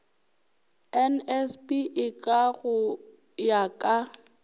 nsb eka go ya ka